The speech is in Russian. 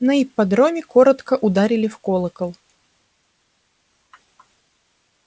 на ипподроме коротко ударили в колокол